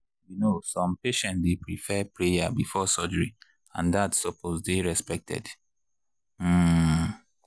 you know some patients dey prefer prayer before surgery and that supose dey respected. um